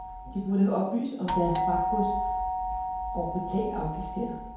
De burde have oplyst om deres fragtgods og betalt afgift her.